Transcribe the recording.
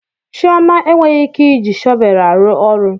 Chioma enweghị ike iji shọvel aru oru